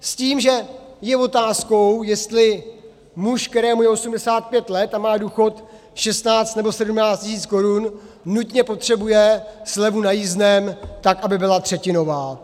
S tím, že je otázkou, jestli muž, kterému je 85 let a má důchod 16 nebo 17 tisíc korun, nutně potřebuje slevu na jízdném, tak aby byla třetinová.